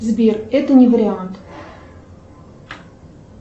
сбер это не вариант